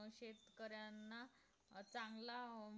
शेतकऱ्यांना चांगला आह